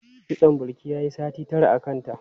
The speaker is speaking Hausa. Kitson Bilki yayi sati tara a kanta.